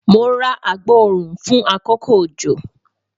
Mo ra agboorun fun akoko ojo